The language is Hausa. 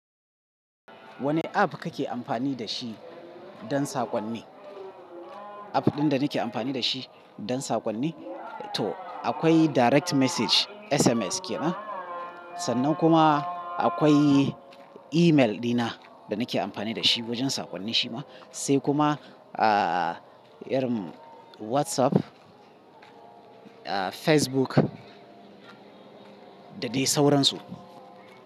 Wane app kake amfani da shi don saƙonni? App ɗin da nake amfani da shi don saƙonni? To akwai direct message, SMS ke nan. Sannan kuma akwai email dina da nake amfani da shi wajen saƙonnin shi ma. Sai kuma, ah, irun WhatsApp, ah, Facebook da dai sauransu.